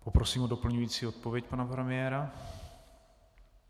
Poprosím o doplňující odpověď pana premiéra.